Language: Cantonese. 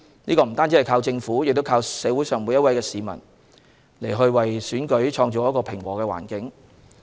不單靠政府，也要靠每位市民為選舉製造平和的環境。